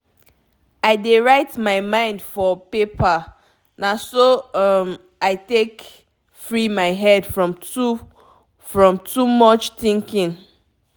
i dey write my mind for paper—na so um i dey take free my head from too from too much thinking.